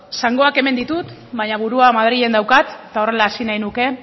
zangoak hemen ditu baina burua madrilen daukat eta horrela hasi nahiko nuke